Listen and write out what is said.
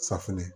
Safinɛ